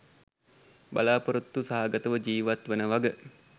බලාපොරොත්තු සහගතව ජීවත් වන වග.